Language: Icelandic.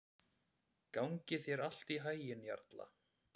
Gangi þér allt í haginn, Jarla.